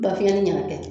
Ba fiɲɛnen y'a kɛ